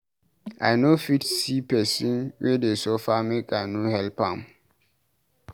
I no fit see pesin wey dey suffer make I no help am.